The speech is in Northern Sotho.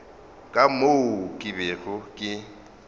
ka moo ke bego ke